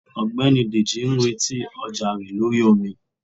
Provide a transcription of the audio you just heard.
ọgbẹni dejì n retí ọja rẹ lorí omí.